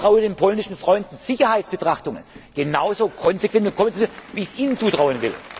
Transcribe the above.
Ich traue den polnischen Freunden Sicherheitsbetrachtungen genauso konsequent zu wie ich sie Ihnen zutraue.